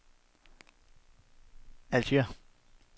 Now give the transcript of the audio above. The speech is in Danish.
Alger